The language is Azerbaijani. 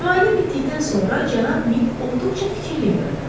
Müayinə bitdikdən sonra cənab Mid olduqca fikirli görünürdü.